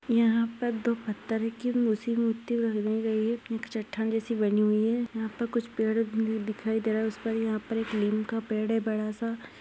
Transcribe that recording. यहा पर दो पत्थर कि मूर्ती मूर्ती बनी हुवी है एक चट्टान जैसी बनी हुई है यहा पर कुछ पेड़ भी दिखाई दे रहा है उस पर यहा पर एक नीम का पेड है बडा सा।